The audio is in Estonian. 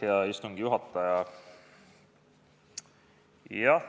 Hea istungi juhataja!